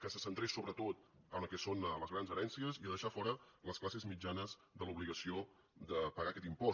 que se centrés sobretot en el que són les grans herències i a deixar fora les classes mitjanes de l’obligació de pagar aquest impost